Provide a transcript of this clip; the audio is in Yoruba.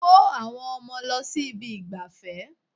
Kó àwọn ọmọ lọ sí ibi ìgbafẹ́.